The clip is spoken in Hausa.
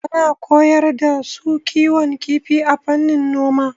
Ana koyar da su kiwon kifi a fannin noma.